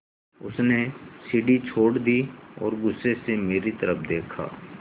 उसने सीढ़ी छोड़ दी और गुस्से से मेरी तरफ़ देखा